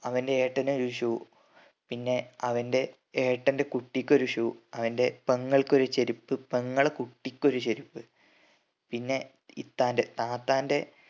അവന്റെ ഏട്ടനൊരു shoe പിന്നെ അവന്റെ ഏട്ടന്റെ കുട്ടിക്കൊരു shoe അവന്റെ പെങ്ങൾക്ക് ഒരു ചെരുപ്പ് പെങ്ങളെ കുട്ടിക്കൊരു ചെരുപ്പ് പിന്നെ ഇത്താന്റെ താത്താന്റെ